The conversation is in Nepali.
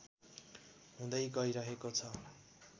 हुँदै गइरहेको छ